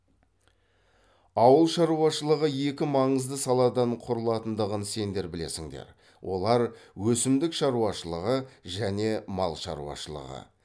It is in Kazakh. ауыл шаруашылығы екі маңызды саладан құралатындығын сендер білесіндер олар өсімдік шаруашылығы және мал шаруашылығы